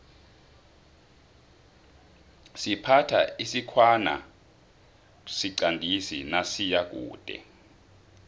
siphatha isikhwana siqandisi nasiyakude